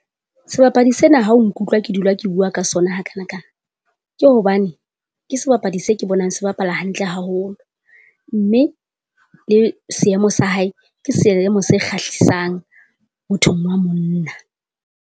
Sebapadi sena ha o nkutlwa ke dula ke bua ka sona hakanakana, ke hobane ke sebapadi se ke bonang se bapala hantle haholo. Mme le seemo sa hae ke seemo se kgahlisang mothong wa monna.